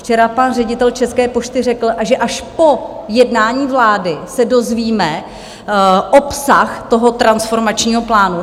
Včera pan ředitel České pošty řekl, že až po jednání vlády se dozvíme obsah toho transformačního plánu.